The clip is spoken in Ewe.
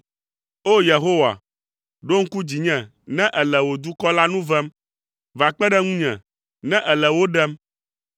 O! Yehowa, ɖo ŋku dzinye ne èle wò dukɔ la nu vem, va kpe ɖe ŋunye ne èle wo ɖem,